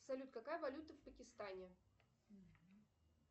салют какая валюта в пакистане